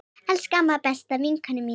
Elsku amma, besta vinkona mín.